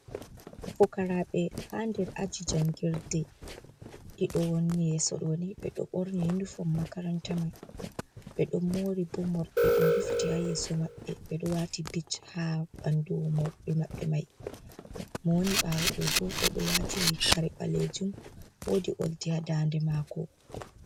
Fukaraɓe ha nder aji jangirde, ɗiɗo woni yeso ɗo ni ɓe ɗo ɓorni uniform makaranta mai, ɓe ɗon mori bo morɗi ɗum rufiti ha yeso maɓɓe, ɓe ɗo wati bit ha ɓandu morɗe maɓɓe mai, mo woni ɓawo ɗo bo o ɗo wati kare balejum wodi oldi ha daa nde mako.